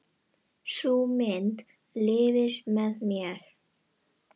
Sú mynd lifir með mér.